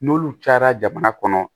N'olu cayara jamana kɔnɔ